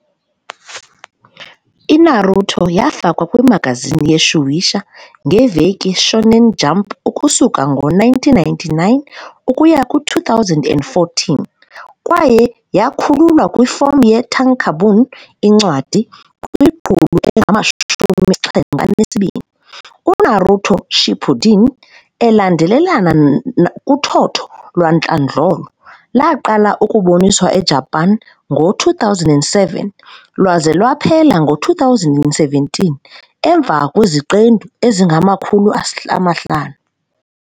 I-Naruto yafakwa kwi-magazine ye-Shueisha, ngeveki Shōnen Jump ukusuka ngo-1999 ukuya ku-2014, kwaye yakhululwa kwifom ye-tankōbon, incwadi, kwimiqulu engama-72. UNaruto- Shippuden, elandelelana kuthotho lwantlandlolo, laqala ukuboniswa eJapan ngo-2007, lwaze lwaphela ngo-2017, emva kweziqendu ezingama-500.